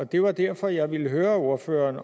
det var derfor jeg ville høre ordføreren